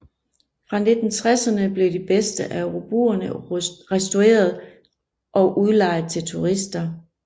Fra 1960erne blev de bedste af robuerne restaureret og udlejet til turister